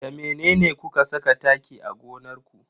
Da mene kuka saka taki a gonar ku?